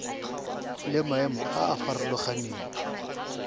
le maemo a a farologaneng